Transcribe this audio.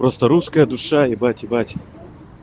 просто русская душа ебать ебать